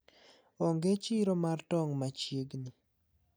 onge chiro mar tong machiegni.